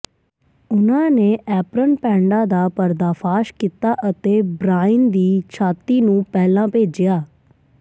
ਉਨ੍ਹਾਂ ਨੇ ਐਪਰਨ ਪੈਡਾਂ ਦਾ ਪਰਦਾਫਾਸ਼ ਕੀਤਾ ਅਤੇ ਬ੍ਰਾਇਨ ਦੀ ਛਾਤੀ ਨੂੰ ਪਹਿਲਾਂ ਭੇਜਿਆ